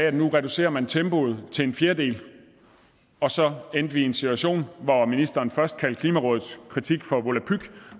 at nu reducerer man tempoet til en fjerdedel og så endte vi i en situation hvor ministeren først kaldte klimarådets kritik for volapyk